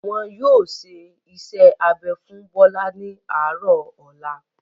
Wọn yóò ṣe iṣẹ́-abẹ fún Bọ́lá ní àárọ̀ ọ̀la.